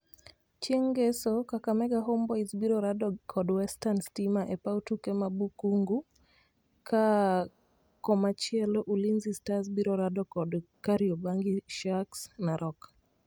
Chieng ngeso Kakamega Homeboyz biro rado kod Western stima e paw tuke ma Bukhungu, ka komachielo Ulinzi stars Biro rado kod Kariobangi Sharks Narok